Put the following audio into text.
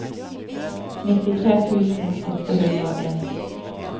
nittitre tusen åtte hundre og en